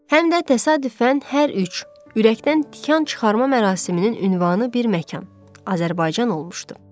Həm də təsadüfən hər üç ürəkdən tikan çıxarma mərasiminin ünvanı bir məkan, Azərbaycan olmuşdu.